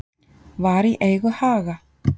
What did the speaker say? Var í eigu Haga